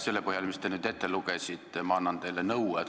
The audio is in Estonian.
Selle põhjal, mis te nüüd ette lugesite, ma annan teile nõu.